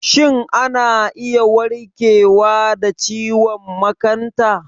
Shin ana iya warkewa da ciwon makanta?